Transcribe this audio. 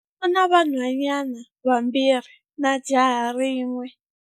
U na vanhwanyana vambirhi na jaha rin'we.